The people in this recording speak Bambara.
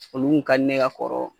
Olu kun ka di ne ye ka kɔrɔ.